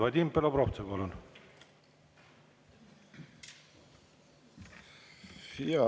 Vadim Belobrovtsev, palun!